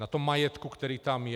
Na tom majetku, který tam je?